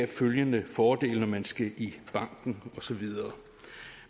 følgende fordele når man skal i banken og så videre